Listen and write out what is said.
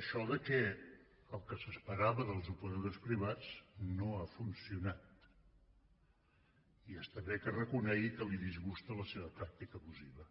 això que el que s’esperava dels operadors privats no ha funcionat i està bé que reconegui que el disgusta la seva pràctica abusiva